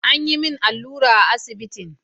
An yi min allura a asibitin.